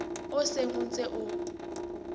o seng o ntse o